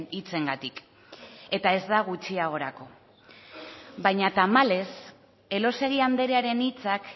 hitzengatik eta ez da gutxiagorako baina tamalez elósegui andrearen hitzak